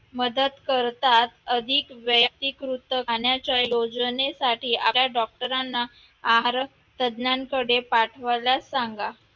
मदत करतात अधिक वैयक्तिकृत राहण्याच्या योजनेसाठी आपल्या doctor राना आहार तज्ज्ञांकडे पाठवायला सांगा.